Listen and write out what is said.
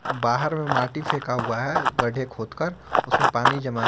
बाहर में माटी फेंका हुआ है गड्ढे खोद कर उसमें पानी जमा है।